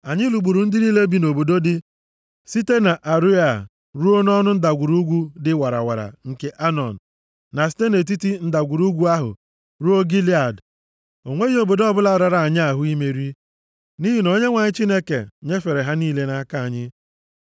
Anyị lụgburu ndị niile bi nʼobodo dị site nʼAroea ruo nʼọnụ ndagwurugwu dị warawara nke Anọn, na site nʼetiti ndagwurugwu ahụ ruo Gilead. O nweghị obodo ọbụla rara anyị ahụ imeri, nʼihi na Onyenwe anyị Chineke nyefere ha niile nʼaka anyị.